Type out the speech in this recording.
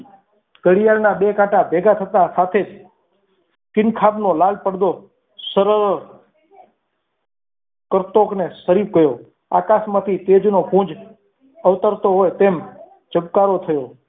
ઘડિયાળના બે કાંટા ભેગા થતા સાથે જ સિંગ ખાનનો લાલ પડદો સરળ કરતોકને સરી ગયો આકાશમાંથી તેજનો ગુંજ અવતરતો હોય તેમ જબકારો થયો.